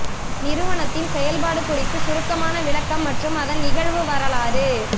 நிறுவனத்தின் செயல்பாடு குறித்து சுருக்கமான விளக்கம் மற்றும் அதன் நிகழ்வு வரலாறு